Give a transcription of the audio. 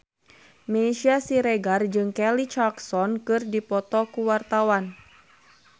Meisya Siregar jeung Kelly Clarkson keur dipoto ku wartawan